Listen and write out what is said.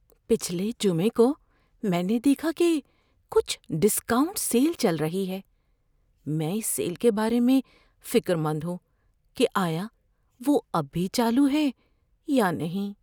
پچھلے جمعہ کو میں نے دیکھا کہ کچھ ڈسکاؤنٹ سیل چل رہی ہے۔ میں اس سیل کے بارے میں فکر مند ہوں کہ آیا وہ اب بھی چالو ہے یا نہیں۔